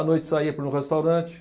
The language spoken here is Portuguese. À noite saía para um restaurante.